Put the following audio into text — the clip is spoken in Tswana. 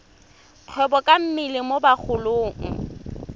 kgwebo ka mmele mo bagolong